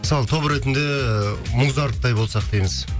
мысалы топ ретінде ыыы музарттай болсақ дейміз